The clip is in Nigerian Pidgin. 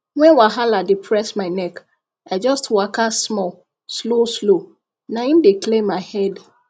when wahala dey press my neck i just waka small slow slow na im dey clear my head